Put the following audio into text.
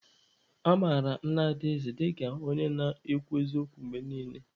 A mara Nna Adaeze dịka onye na-akwụ n'eziokwu mgbe niile.